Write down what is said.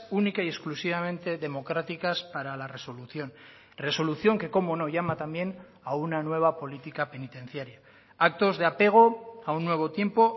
única y exclusivamente democráticas para la resolución resolución que cómo no llama también a una nueva política penitenciaria actos de apego a un nuevo tiempo